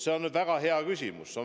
See on väga hea küsimus.